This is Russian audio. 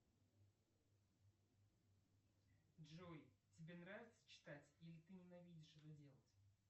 джой тебе нравится читать или ты ненавидишь это делать